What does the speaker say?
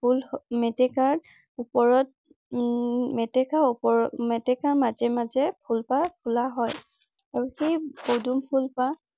ফুল মেটেকাৰ ওপৰত উম মেটেকা ওপৰত মেটেকা মাজে মাজে ফুলপাহ ফুলা হয়। আৰু সেই পদুম ফুলপাহ